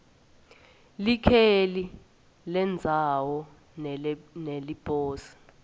likheli lendzawo neleliposi